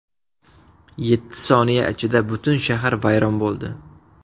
Yetti soniya ichida butun shahar vayron bo‘ldi.